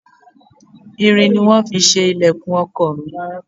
Irin ni wón fi ṣe ìlẹ̀kùn ọkọ̀ mi.